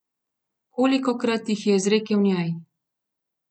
Kolikokrat jih je izrekel njej?